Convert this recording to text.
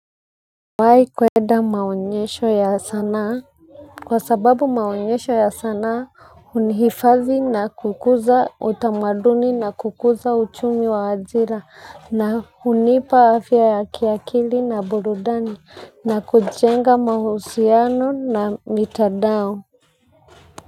Nimewai kuenda maonyesho ya sanaa. Kwa sababu maonyesho ya sanaa hunihifadhi na kukuza utamaduni na kukuza uchumi wa ajira na hunipa afya ya kiakili na burudani na kujenga mahusiano na mitandao.